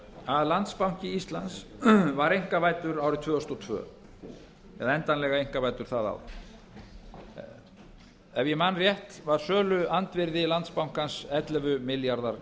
að landsbanki íslands var einkavæddur árið tvö þúsund og tvö eða endanlega einkavæddur það ár ef ég man rétt var söluandvirði landsbankans ellefu milljarðar